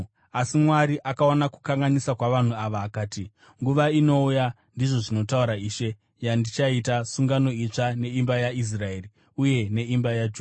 Asi Mwari akaona kukanganisa kwavanhu ava akati: “Nguva inouya, ndizvo zvinotaura Ishe, yandichaita sungano itsva neimba yaIsraeri, uye neimba yaJudha,